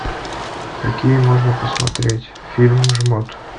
какие можно посмотреть фильм жмот